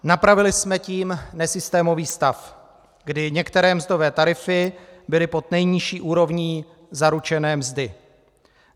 Napravili jsme tím nesystémový stav, kdy některé mzdové tarify byly pod nejnižší úrovní zaručené mzdy.